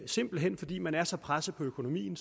simpelt hen fordi man er så presset på økonomien